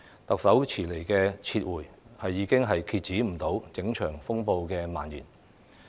特首遲來的"撤回"，已經無法遏止整場風暴蔓延。